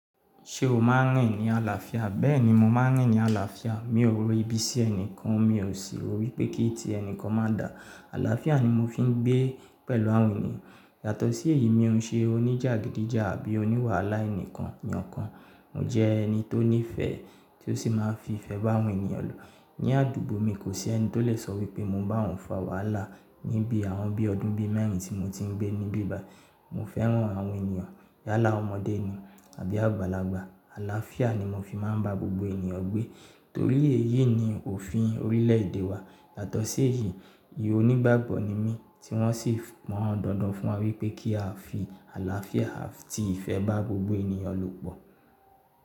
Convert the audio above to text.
Ṣé o máa ń rìn ní àlàáfíà? Bẹ́ẹ̀ni, mo máa ń rìn ní àlàáfíà. Mi ò ro ibi sí ẹnìkan mi ò sì rò wípé kí ti ẹnìkan má dà. Àlàáfíà ni mo fi ń gbé pẹ̀lú àwọn ènìyàn. Yàtọ̀ sí èyí mi ò n ṣe oníjàgídíjà àbí oníwàhálà ẹnìkan eyan kan. Mo jẹ ẹni tó ní ìfẹ́ tí ó sì máa ń fi ìfẹ́ bá àwọn ènìyàn lò. Ni àdúgbò mi kò sí ẹni tó lè sọ wípé mo n bá òun fa wàhálà níbi àwọn bí ọdún bí mẹ́rin tí mo ti ń gbé níbí bayi. Mo fẹ́ràn àwọn ènìyàn yálà ọmọdé ni àbí àgbàlagbà. Àlàáfíà ni mo fi máa ń bá gbogbo ènìyàn gbé torí èyí ni òfin orílẹ̀ èdè wa. Yàtọ̀ sí èyí, ìhònígbàgbọ́ ni mí tí wọ́n sì pon dandan fún wa wípé kí a fi àlàáfíà àti ìfẹ́ bá gbogbo ènìyàn lò pọ̀.